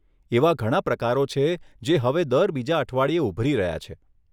એવા ઘણા પ્રકારો છે જે હવે દર બીજા અઠવાડિયે ઉભરી રહ્યા છે.